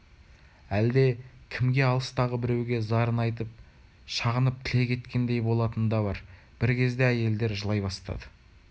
әлде кімге алыстағы біреуге зарын айтып шағынып тілек еткендей болатыны да бар бір кезде әйелдер жылай бастады